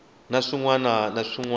na swin wana na swin